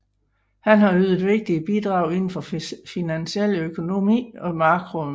Han har ydet vigtige bidrag inden for finansiel økonomi og makroøkonomi